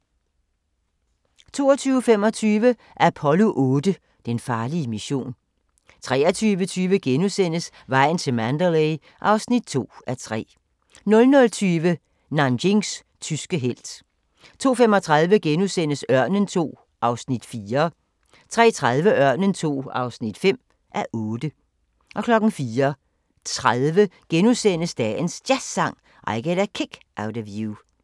22:25: Apollo 8: Den farlige mission 23:20: Vejen til Mandalay (2:3)* 00:20: Nanjings tyske helt 02:35: Ørnen II (4:8)* 03:30: Ørnen II (5:8) 04:30: Dagens Jazzsang: I Get a Kick Out of You *